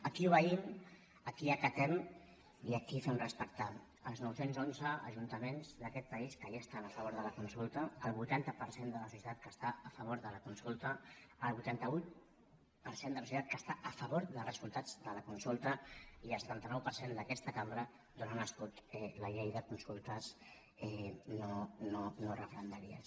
aquí obeïm aquí acatem i aquí fem respectar els noucents onze ajuntaments d’aquest país que ja estan a favor de la consulta al vuitanta per cent de la societat que està a favor de la consulta al vuitanta vuit per cent de la societat que està a favor dels resultats de la consulta i al setanta nou per cent d’aquesta cambra d’on ha nascut la llei de consultes no referendàries